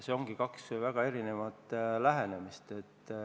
Need on kaks väga erinevat lähenemist.